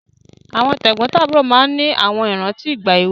Àwọn tẹ̀gbọ́ntàbúrò máa ń ní àwọn ìrántí ìgbà èwe